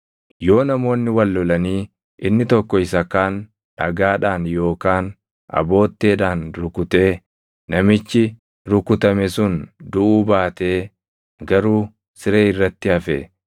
“Yoo namoonni wal lolanii inni tokko isa kaan dhagaadhaan yookaan abootteedhaan rukutee namichi rukutame sun duʼuu baatee garuu siree irratti hafe,